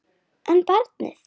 En barnið?